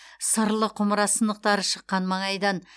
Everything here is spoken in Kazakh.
сырлы құмыра сынықтары шыққан маңайдан